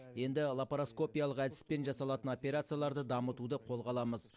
енді лапароскопиялық әдіспен жасалатын операцияларды дамытуды қолға аламыз